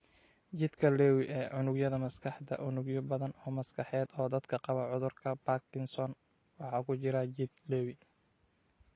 Jidhka Lewy ee Unugyada Maskaxda Unugyo badan oo maskaxeed oo dadka qaba cudurka Parkinson waxa ku jira jidh Lewy.